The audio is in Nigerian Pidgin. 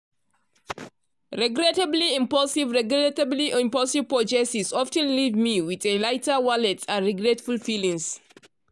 regrettably impulsive regrettably impulsive purchases of ten leave me with a lighter wallet and regretful feelings.